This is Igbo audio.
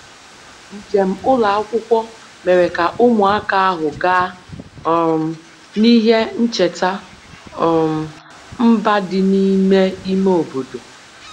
njem njem ụlọ akwụkwọ mere ka ụmụaka ahụ gaa um n'ihe ncheta um mba dị n'ime ime obodo